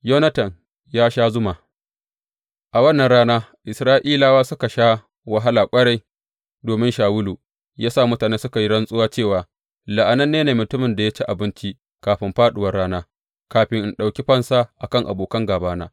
Yonatan ya sha zuma A wannan rana, Isra’ilawa suka sha wahala ƙwarai domin Shawulu ya sa mutane suka yi rantsuwa cewa, La’ananne ne mutumin da ya ci abinci kafin fāɗuwar rana, kafin in ɗauki fansa a kan abokan gābana.